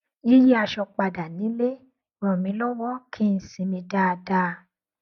yíyí aṣọ padà nílé ràn mí lọwọ kí n sinmi dáadáa